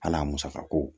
Hal'a musakako